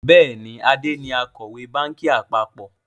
Bẹ́ẹ̀ni, Ade ni Akọ̀wé báńkì àpapọ̀